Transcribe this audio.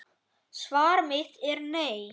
Svar mitt er nei.